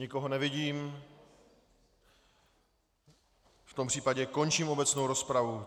Nikoho nevidím, v tom případě končím obecnou rozpravu.